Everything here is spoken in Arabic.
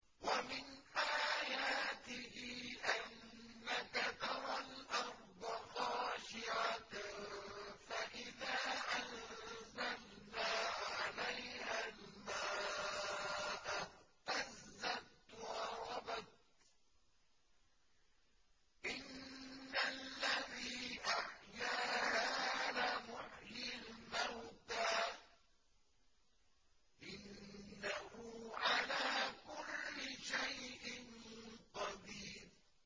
وَمِنْ آيَاتِهِ أَنَّكَ تَرَى الْأَرْضَ خَاشِعَةً فَإِذَا أَنزَلْنَا عَلَيْهَا الْمَاءَ اهْتَزَّتْ وَرَبَتْ ۚ إِنَّ الَّذِي أَحْيَاهَا لَمُحْيِي الْمَوْتَىٰ ۚ إِنَّهُ عَلَىٰ كُلِّ شَيْءٍ قَدِيرٌ